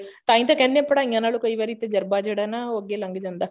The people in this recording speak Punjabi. ਤਾਹੀਂ ਤਾਂ ਕਹਿੰਦੇ ਐ ਪੜ੍ਹਾਈਆਂ ਨਾਲੋ ਕਈ ਵਾਰੀ ਤਜਰਬਾ ਜਿਹੜਾ ਐ ਨਾ ਉਹ ਅੱਗੇ ਲੱਗ ਜਾਂਦਾ